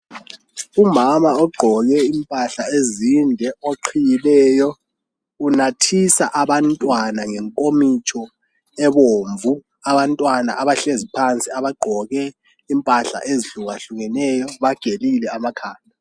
umama ogqoke impahla ezinde oqhiyileyo unathisa abantwana ngenkomitsho ebomvu abantwana abahleziphansi abagqoke impahlaezihlukahlukeneyo bagelile amakhanda